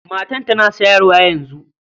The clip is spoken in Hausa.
Matar tana shayarwa yanzu.